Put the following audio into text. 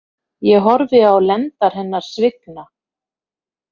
Ég horfi á lendar hennar svigna.